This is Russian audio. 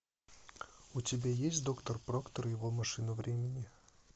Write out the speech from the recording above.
у тебя есть доктор проктор и его машина времени